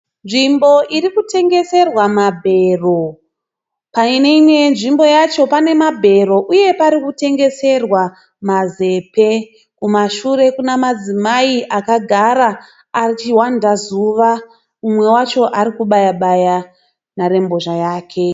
Nzvimbo iri kutengeserwa mabhero. Pane imwe yezvimbo yacho pane mabhero uye pari kutengeserwa mazepe. Kumashure kuna madzimai akagara achihwanda zuva. Umwe wacho ari kubaya baya nharembozha yake.